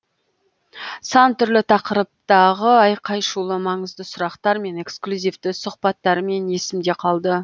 сан түрлі тақырыптағы айқай шулы маңызды сұрақтар мен эксклюзивті сұхбаттарымен есімде қалды